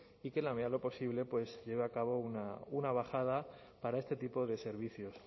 y que en la media de lo posible pues lleve a cabo una bajada para este tipo de servicios